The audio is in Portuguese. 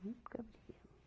Nunca brigamos.